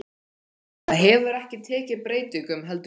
Það hefur ekki tekið breytingum, heldur ég.